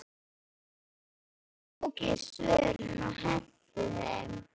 Svo tók ég svörin og henti þeim.